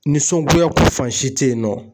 Nisɔngoyako fan si teyinɔ